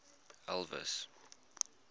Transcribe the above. elvis